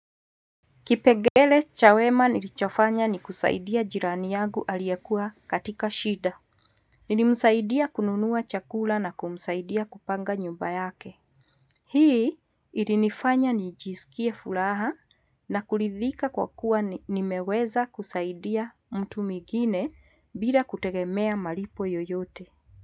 Kipengele cha wema nilichofanya ni kusaidia jirani yangu aliyekuwa katika shida. Nilimsaidia kununua chakula na kumsaidia kupanga nyumba yake. Hii ilinifanya nijisikie furaha na kuridhika kwa kuwa nimeweza kusaidia mtu mwingine bila kutegemea malipo yoyote.